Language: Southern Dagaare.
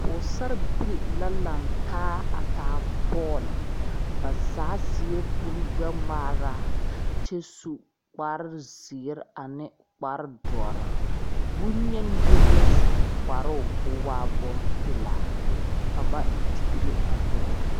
Pɔgesarebilii la laŋ taa a taa bɔlɔ ba zaa seɛ kurigbɛŋmaara kyɛ su kparezeere ane kparedɔre bonyeni yoŋ la su kparoo k,o waa bompelaa ka ba digre a bɔlɔ.